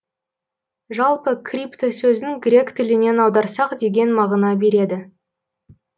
жалпы крипто сөзін грек тілінен аударсақ деген мағына береді